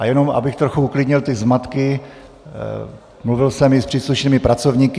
A jenom abych trochu uklidnil ty zmatky, mluvil jsem i s příslušnými pracovníky.